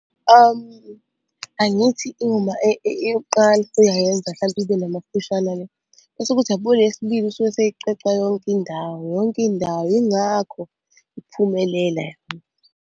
Angithi uma eyokuqala usuyayenza hlampe ibe namaphushana-ke, bese kuthi yabo le yesibili usuke eseyicweca yonke indawo, yonke indawo, yingakho iphumelela.